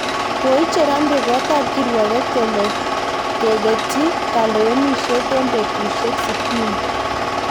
Koicher amri koot ab kirwoget kole kegetyi kalewenisyet eng betusyek sitini